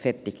Fertig